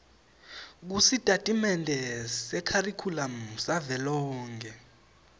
kusitatimende sekharikhulamu savelonkhe